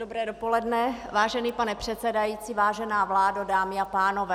Dobré dopoledne, vážený pane předsedající, vážená vládo, dámy a pánové.